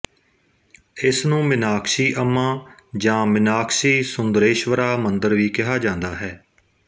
ਇਸ ਨੂੰ ਮੀਨਾਕਸ਼ੀ ਅੰਮਾ ਜਾਂ ਮਿਨਾਕਸ਼ੀਸੁੰਦਰੇਸ਼ਵਰਾ ਮੰਦਰ ਵੀ ਕਿਹਾ ਜਾਂਦਾ ਹੈ